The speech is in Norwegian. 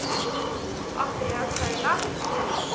Andreas Høiland